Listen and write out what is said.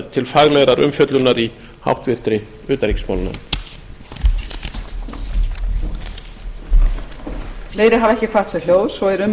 til faglegrar umfjöllunar í háttvirtri utanríkismálanefnd klára össur hér össur allur í fyrra skjali